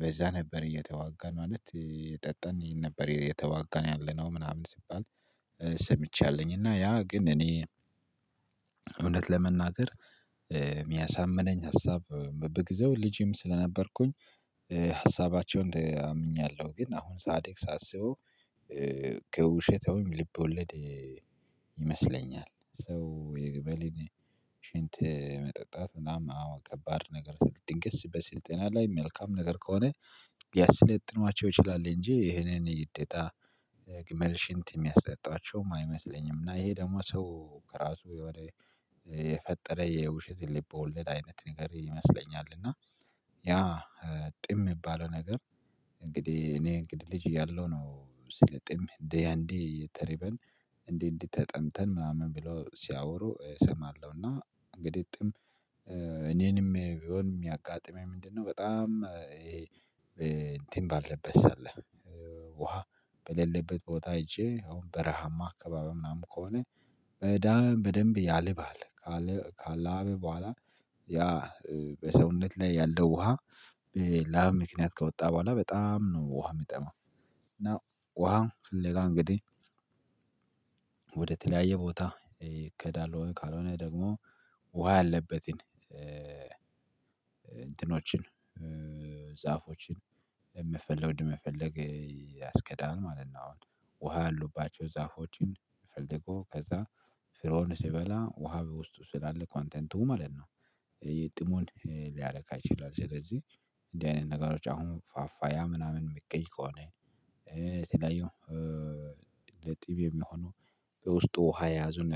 በዛ ነበር። እየተዋጋን ማለት የጠጠነኝን ነበር የተዋጋን ያለነው ምናምን ሲባል። ሰምቻለኝ እና ያ ግን እኔ እውነት ለመናገር የሚያሳምነኝ ሀሳብ በግዘው ልጅም ስለነበርኩኝ ሀሳባቸውን አምኛለሁ። ግን አሁን ጻድቅ ሳስበው ከውሸተውም ልብ ወለድ ይመስለኛል። ሰው የገበሌን ሽንት መጠጣት ምናምን አዎ ከባድ ነገር ስልጥን ገስ በስልጤና ላይ መልካም ነገር ከሆነ ያሰለጥኗቸው ይችላል። እንጂ ይሄንን ይጤታ ግመል ሽንት የሚያሰጣቸውም አይመስለኝም። እና ይሄ ደግሞ ሰው ከራሱ ወደ የፈጠረ የውሸት ሊበውለድ አይነት ንገሪ ይመስለኛል። እና ያ ጥም የሚባለው ነገር። እንግዲህ እኔ እንግዲህ ልጅ እያለሁ ነው ስለ ጥም እንደ ያንዴ ተርበን እንዴ እንዴት ተጠምተን ምናምን ብሎ ሲያወሩ እሰማለሁ። እና እንግዲህ ጥም እኔንም ቢሆን የሚያጋጥመኝ ምንድነው? በጣም እንትን ባልለበስ አለ ውሃ በሌለበት ቦታ አይቼ አሁን በረሃማ አካባቢ ምናምን ከሆነ በዳ በደንብ ያለባል ካለ ካለአበ በኋላ ያ በሰውነት ላይ ያለው ውሃ። ላም ምክንያት ከወጣ በኋላ በጣም ነው ውሃ የሚጠማው። እና ውሃ ፍለጋ እንግዲህ ወደተለያየ ቦታ ይከዳል ወይ ካልሆነ ደግሞ ውሃ አለበትን እንትኖችን ጻፎችን የምትፈልገውን የምትፈልገውን ያስገዳል ማለት ነው። አሁን ውሃ ያሉባቸው ዛፎችን ፈልገው ከዛ ስራውን ሲበላ ውሃ በውስጡ ስላለ ኮንተንቱ ማለት ነው። የጥሞን ሊያረካ አይችልም። ስለዚህ እንደዚህ አይነት ነገሮች አሁን ፋፋ ያ ምናምን የሚቀይ ከሆነ። የተለያየው ለጥብ የሚሆነው ውስጡ ውሃ የያዙን